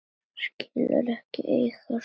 Skilur ekki sína eigin vonsku.